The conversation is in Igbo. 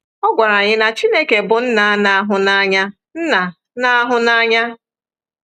Ọ gwara anyị na Chineke bụ nna na-ahụ n’anya. nna na-ahụ n’anya.